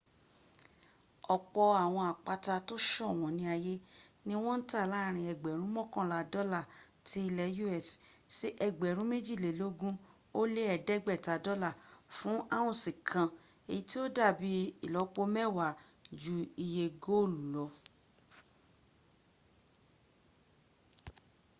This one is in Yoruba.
ọ̀pọ̀ àwọn àpáta tó ṣọ̀wọ́n ní ayé ní wọ́n ń tà láàrin ẹgbẹ̀rún mọ́kànlá dọ́là ti lẹ̀ us sí ẹgbẹ̀rún méjìlélógún ó lé ẹ̀ẹ́dẹ́gbẹ̀ta dọ́là fún ounce kan èyí tí ó dàbí ìlọ́pọ mẹ́wàá jú iye góòlù lọ